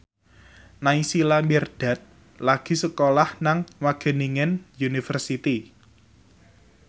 Naysila Mirdad lagi sekolah nang Wageningen University